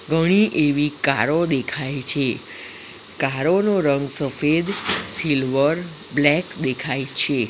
ઘણી એવી કારો દેખાય છે કારો નો રંગ સફેદ સિલ્વર બ્લેક દેખાય છે.